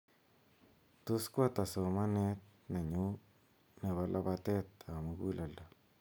tos koata somanet nenyu nebo labateet ab muguleledo